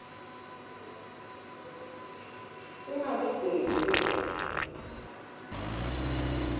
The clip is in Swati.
singalibhemi ligwayi